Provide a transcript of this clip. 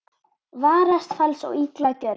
Varast fals og illa gjörð.